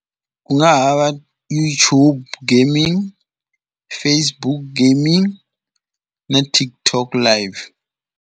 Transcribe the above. Ku nga ha va YouTube gaming, Facebook gaming na TikTok life.